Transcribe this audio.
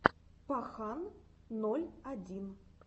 пахан ноль один